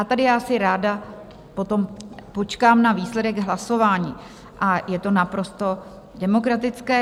A tady já si ráda potom počkám na výsledek hlasování a je to naprosto demokratické.